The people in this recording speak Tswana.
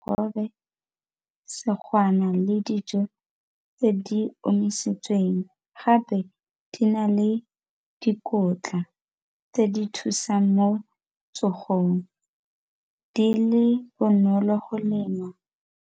le dijo tse di omisitsweng gape di na le dikotla tse di thusang mo tsogong di le bonolo go lema.